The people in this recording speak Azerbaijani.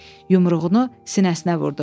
Yumruğunu sinəsinə vurdu.